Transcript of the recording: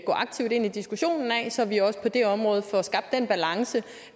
aktivt ind i diskussionen af så vi også på det område får skabt den balance